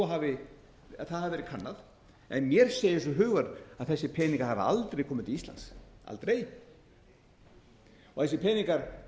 skýrslunni að það hafi verið kannað en mér segir svo hugur að þessir peningar hafi aldrei komið til íslands aldrei þessir peningar